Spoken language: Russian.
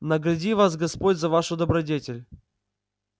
награди вас господь за вашу добродетель